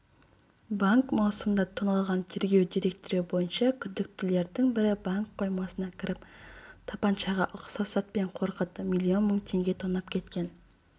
банк маусымда тоналған тергеу деректері бойынша күдіктілердің бірі банк қоймасына кіріп тапаншаға ұқсас затпен қорқытып миллион мың теңге тонап кеткен